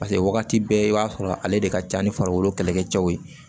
Paseke wagati bɛɛ i b'a sɔrɔ ale de ka ca ni farikolo kɛlɛkɛcɛw ye